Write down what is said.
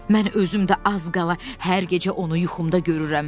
Mən özüm də az qala hər gecə onu yuxumda görürəm.